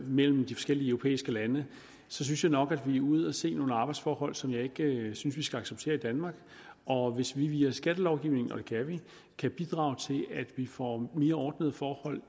mellem de forskellige europæiske lande og så synes jeg nok at vi er ude at se nogle arbejdsforhold som jeg ikke synes vi skal acceptere i danmark og hvis vi via skattelovgivningen kan bidrage til vi at vi får mere ordnede forhold